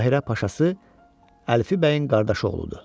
Qahirə paşası Əlfi bəyin qardaşı oğludur.